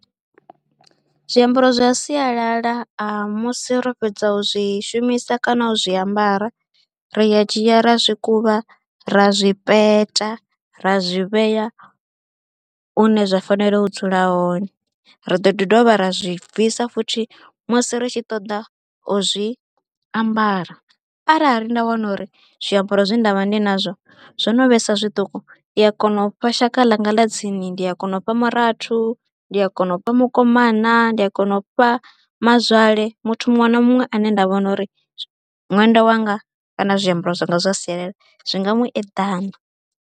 Zwiambaro zwa sialala musi ro fhedza u zwi shumisa kana u zwiambara ri ya dzhia ra zwi kuvha, ra zwi peta, ra zwi vhea hune zwa fanela u dzula hone. Ri ḓo ḓi dovha ra zwi bvisa futhi musi ri tshi ṱoḓa u zwi ambara, arali nda wana uri zwiambaro zwe nda vha ndi nazwo zwo no vhesa zwiṱuku ndi ya kona u fha shaka ḽanga ḽa tsini, ndi a kona u fha murathu, ndi a kona u pfha mukomana, ndi a kona u fha mazwale nana muthu muṅwe na muṅwe ane nda vhona uri ṅwenda wanga kana zwiambaro zwanga zwa sialala zwi nga mu eḓana.